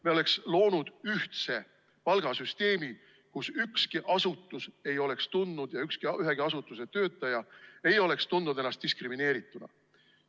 Me oleks loonud ühtse palgasüsteemi, kus ükski asutus ega ühegi asutuse töötajad ei oleks tundnud ennast diskrimineerituna.